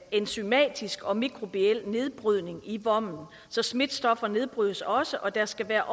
enzymatisk og mikrobiel nedbrydning i vommen så smitstoffer nedbrydes også og der skal være